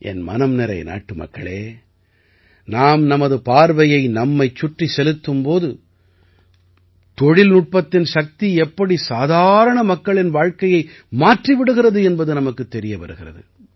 என் மனம் நிறை நாட்டுமக்களே நாம் நமது பார்வையை நம்மைச் சுற்றிச் செலுத்தும் போது தொழில்நுட்பத்தின் சக்தி எப்படி சாதாரண மக்களின் வாழ்க்கையை மாற்றி விடுகிறது என்பது நமக்குத் தெரிய வருகிறது